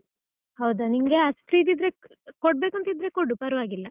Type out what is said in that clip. ಹೌದಾ ನಿಂಗೆ ಅಷ್ಟ್ ಇದ್ ಇದ್ರೆ, ಕೊಡ್ಬೇಕಂತ ಇದ್ರೆ ಕೊಡು ಪರ್ವಾಗಿಲ್ಲ.